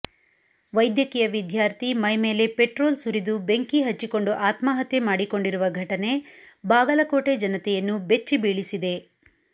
ವೈದ್ಯಕೀಯ ವಿದ್ಯಾರ್ಥಿ ಮೈಮೇಲೆ ಪೆಟ್ರೋಲ್ ಸುರಿದು ಬೆಂಕಿ ಹಚ್ಚಿಕೊಂಡು ಆತ್ಮಹತ್ಯೆ ಮಾಡಿಕೊಂಡಿರುವ ಘಟನೆ ಬಾಗಲಕೋಟೆ ಜನತೆಯನ್ನು ಬೆಚ್ಚಿ ಬೀಳಿಸಿದೆ